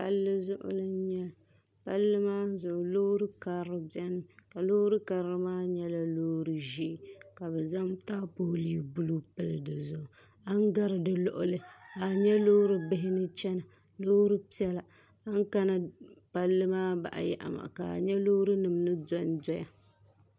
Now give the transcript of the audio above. Palli zuɣu n nyɛli palli maa zuɣu loori karili biɛni mi ka loori karili maa nyɛla loori ʒiɛ ka bi zaŋ taapooli buluu pili dizuɣu a ni gari di luɣuli ka a nyɛ loori bihi ni chɛna loori piɛla a ni kana palli maa baa yaɣa maa ka a nyɛ loori nim ni dondoya